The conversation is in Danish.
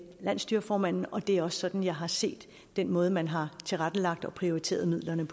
landsstyreformanden og det er også sådan jeg har set den måde man har tilrettelagt og prioriteret midlerne